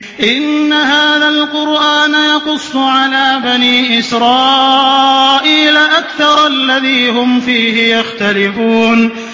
إِنَّ هَٰذَا الْقُرْآنَ يَقُصُّ عَلَىٰ بَنِي إِسْرَائِيلَ أَكْثَرَ الَّذِي هُمْ فِيهِ يَخْتَلِفُونَ